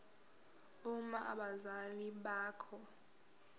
uma abazali bakho